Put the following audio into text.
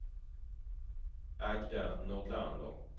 Agda Nordlander